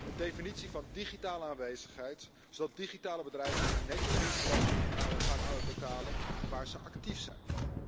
Een definitie van digitale aanwezigheid, zodat digitale bedrijven netjes winstbelasting gaan uitbetalen waar ze actief zijn.